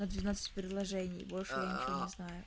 на двенадцать предложений больше я ничего не знаю